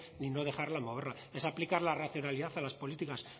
ni no dejarla moverla es aplicar la racionalidad a las políticas